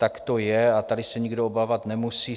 Tak to je a tady se nikdo obávat nemusí.